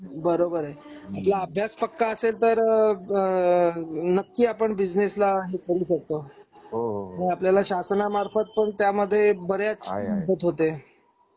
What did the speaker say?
बरोबर आहे. आपला अभ्यास पक्का असेल तर नक्की आपण बिझनेसला हे करू शकतो शासना आपला अभ्यास आपल्याला शासन मार्फत पण त्या मध्ये बऱ्याच मदत होते.